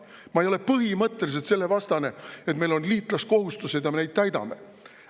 Ma ei ole põhimõtteliselt selle vastu, et meil on liitlaskohustused ja me neid täidame.